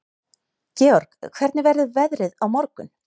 Georg, hvernig verður veðrið á morgun?